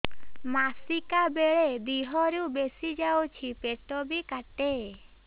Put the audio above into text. ମାସିକା ବେଳେ ଦିହରୁ ବେଶି ଯାଉଛି ପେଟ ବି କାଟେ